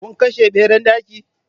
Kun kashe Ɓeran ɗaki?